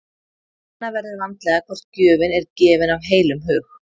Kanna verður vandlega hvort gjöfin er gefin af heilum hug.